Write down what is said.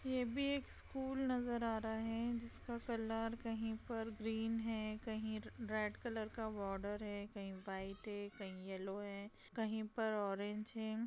ये भी एक स्कूल नजर आ रहा है जिसका कलर कहीं पर ग्रीन है कहीं रेड कलर का बॉर्डर है कहीं वाइट है कहीं येलो है कहीं पर ऑरेंज है।